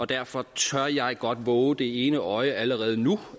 derfor tør jeg godt vove det ene øje allerede nu